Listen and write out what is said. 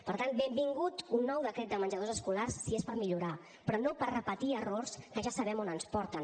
per tant benvingut un nou decret de menjadors escolars si és per millorar però no per repetir errors que ja sabem on ens porten